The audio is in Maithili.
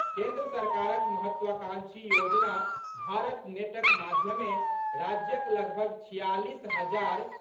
केंद्र सरकारक महत्वाकांक्षी योजना भारत नेटक माध्यमे राज्यक लगभग छियालीस हजार